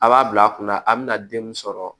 A b'a bila a kunna a bɛna den min sɔrɔ